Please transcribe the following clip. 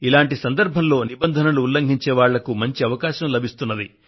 ఇటువంటి సందర్భంలో నిబంధనలను ఉల్లంఘించే వాళ్లకు మంచి అవకాశం లభిస్తుంది